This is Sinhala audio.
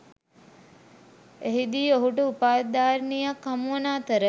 එහිදී ඔහුට උපාධිධාරිණියක් හමුවන අතර